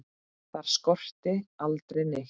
Þar skorti aldrei neitt.